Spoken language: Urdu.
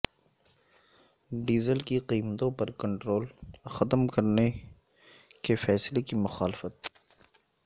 ڈیزل کی قیمتوں پر کنٹرول ختم کرنے کے فیصلہ کی مخالفت